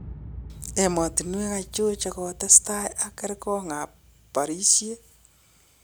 Emotinwek achon che tokotestai ak kergon ab barisiet